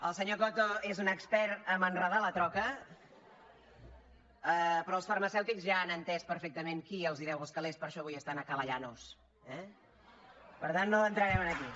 el senyor coto és un expert a enredar la troca però els farmacèutics ja han entès perfectament qui els deu els calés per això avui estan a ca la llanos eh per tant no hi entrarem aquí